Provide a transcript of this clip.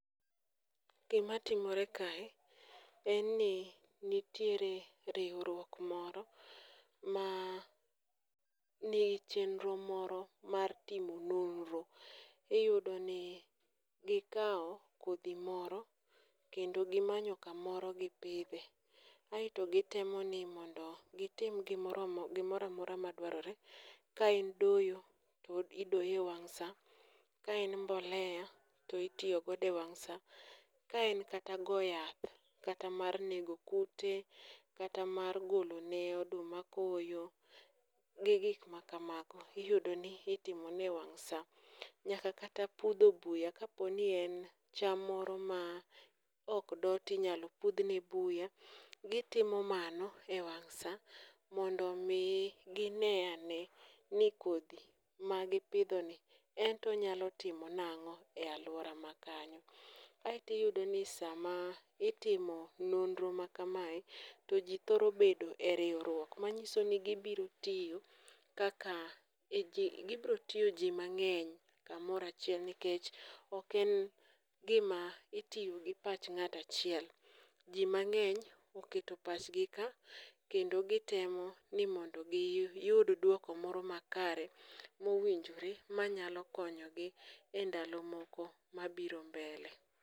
gima timore kae en ni nitiere riwruok moro ma nie chenro moro mar timo nonro ,iyudo ni ikawo kodhi moro kendo gimanyo kamoro gi pidhe. Aeto gitemo ni mondo gitim gimoroa mora madwarore ,ka en doyo to idoyo e wang' sa ka en mbolea to itiyo godo e wang' sa ka en kata go yath kata mana mar nego kute kata mana mar golo ne oduma koyo gi gik makamago, iyudo ni itmo ne ewang saa nyaka kata pudho buya ,kaponi en chamo moro ma ok do ti nyalo pudh ne buya ,gitimo mano e wang' saa mondo mi gine ane ni kodhi ma gi pidho ni ento onyalo timo nang'o e aluora makanyo ,ae to iyudo ni sama itimo nonro makamae to ji thoro bedo e riwruok manyiso ni gibiro tiyo ji manng'eny nikech ok en gima itimo gi pach ng'ato achiel, ji mang'eny oketo pach gi ka ,kendo gitemo ni mondo giyud duoko moro makare mowinjore manyalo konyo gi e ndalo moko mabiro mbele